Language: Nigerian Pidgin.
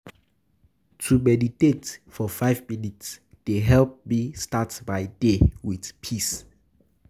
To meditate for five minutes dey help me start my day with peace.